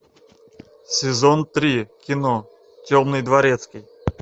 сезон три кино темный дворецкий